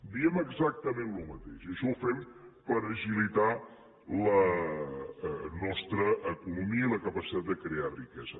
diem exactament el mateix això ho fem per agilitar la nostra economia i la capacitat de crear riquesa